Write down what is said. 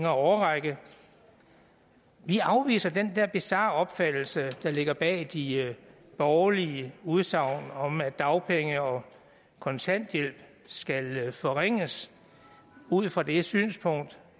årrække vi afviser den der bizarre opfattelse der ligger bag de borgerlige udsagn om at dagpenge og kontanthjælp skal forringes ud fra det synspunkt